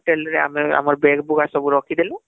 hotel ରେ ଆମେ ଆମର bag ବୁଗାଁ ସବୁ ରଖି ଦେନୁ